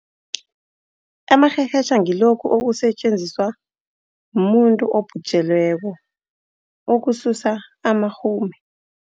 Amarherhetjha ngilokhu okusetjenziswa mumuntu obhujelweko ukususa amarhume.